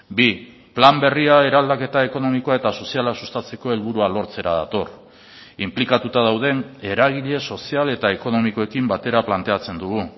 bi plan berria eraldaketa ekonomikoa eta soziala sustatzeko helburua lortzera dator inplikatuta dauden eragile sozial eta ekonomikoekin batera planteatzen dugu